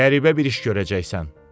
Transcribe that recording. Qəribə bir iş görəcəksən.